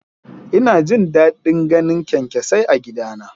Ina jin daɗin ganin kyankyasai a gidana.